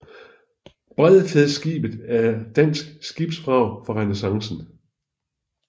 Bredfjedskibet er er dansk skibsvrag fra renæssancen